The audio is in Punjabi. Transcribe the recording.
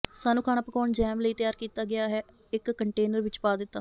ਸਾਨੂੰ ਖਾਣਾ ਪਕਾਉਣ ਜੈਮ ਲਈ ਤਿਆਰ ਕੀਤਾ ਗਿਆ ਹੈ ਇੱਕ ਕੰਟੇਨਰ ਵਿੱਚ ਪਾ ਦਿੱਤਾ